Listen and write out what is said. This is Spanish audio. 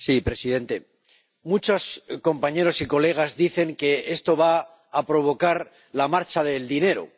Señor presidente, muchos compañeros dicen que esto va a provocar la marcha del dinero.